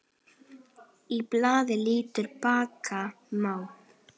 Á blaði líta bakka má.